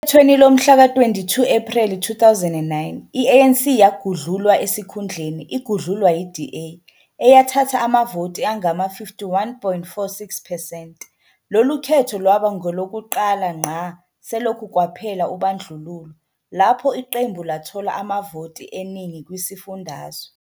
Okhethweni lomhlaka-22 Ephreli 2009 i-ANC yagudlulwa esikhundleni igudlulwa yi-DA, eyathatha amavoti angama-51.46 percent. Lolu khetho lwaba ngolokuqala ngqa selokhu kwaphela ubandlululo lapho iqembu lathola amavoti eningi kwisifundazwe.